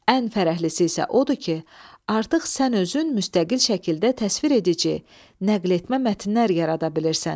Ən fərəhlisi isə odur ki, artıq sən özün müstəqil şəkildə təsvir edici, nəqletmə mətnlər yarada bilirsən.